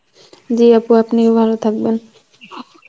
জী আপু আপনিও ভালো থাকবেন